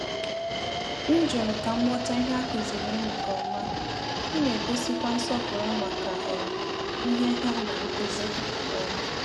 M jụrụ ka m ghọta ìhè a kụziri m nke ọma, m na-egosikwa nsọpụrụ màkà um ìhè hà na nkụzi. um